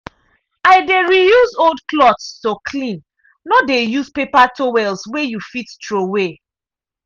i dey reuse old cloths to clean no dey use paper towels wey you fit throw away.